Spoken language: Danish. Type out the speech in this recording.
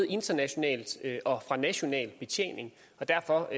international og national betjening og derfor